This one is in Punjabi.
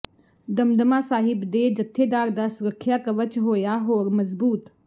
ਦਮਦਮਾ ਸਾਹਿਬ ਦੇ ਜਥੇਦਾਰ ਦਾ ਸੁਰੱਖਿਆ ਕਵਚ ਹੋਇਆ ਹੋਰ ਮਜ਼ਬੂਤ